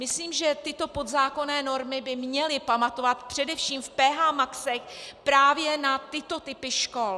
Myslím, že tyto podzákonné normy by měly pamatovat především v PH maxech právě na tyto typy škol.